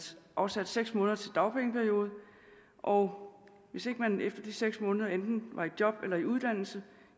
afsatte seks måneder til dagpengeperiode og hvis ikke man efter de seks måneder enten var i job eller i uddannelse